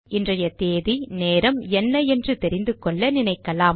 இன்றைய தேதி நேரம் என்ன என்று தெரிந்துகொள்ள நினைக்கலாம்